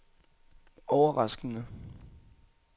overraskende